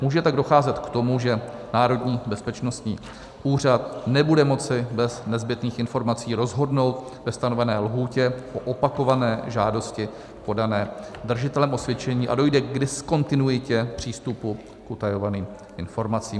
Může tak docházet k tomu, že Národní bezpečnostní úřad nebude moci bez nezbytných informací rozhodnout ve stanovené lhůtě o opakované žádosti podané držitelem osvědčení a dojde k diskontinuitě přístupu k utajovaným informacím.